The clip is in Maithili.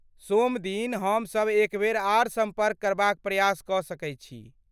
सोमदिन हमसब एकबेर आर सम्पर्क करबाक प्रयास कऽ सकैत छी।